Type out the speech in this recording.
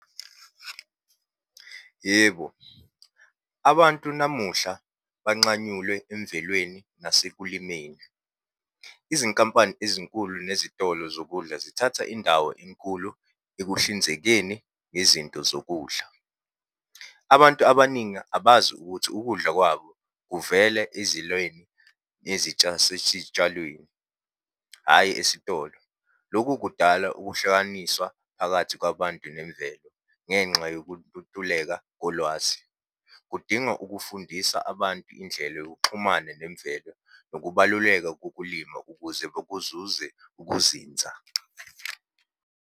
Yebo, abantu namuhla, banxanyulwe emvelweni nasekulimeni. Izinkampani ezinkulu nezitolo zokudla zithatha indawo enkulu ekuhlinzekeni ngezinto zokudla. Abantu abaningi abazi ukuthi ukudla kwabo kuvela ezilweni , hhayi esitolo. Lokhu kudala ukuhlukaniswa phakathi kwabantu nemvelo, ngenxa yokututuleka kolwazi. Kudinga ukufundisa abantu indlela yokuxhumana nemvelo, nokubaluleka kokulima ukuze bekuzuze ukuzinza.